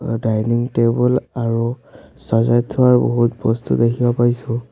Dining table আৰু চজাই থোৱা বহুত বস্তু দেখিব পাইছোঁ।